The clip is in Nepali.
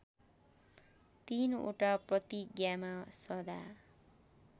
३ वटा प्रतिज्ञामा सदा